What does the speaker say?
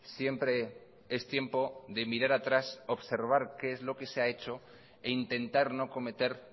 siempre es tiempo de mirar atrás observar qué es lo que se ha hecho e intentar no cometer